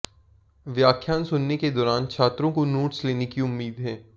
व्याख्यान सुनने के दौरान छात्रों को नोट्स लेने की उम्मीद है